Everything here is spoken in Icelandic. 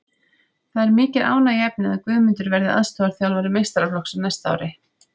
Það er mikið ánægjuefni að Guðmundur verði aðstoðarþjálfari meistaraflokks á næsta ári.